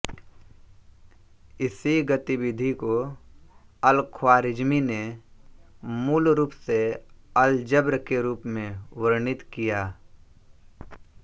इसी गतिविधि को अलख्वारिज्मी ने मूल रूप से अलजब्र के रूप में वर्णित किया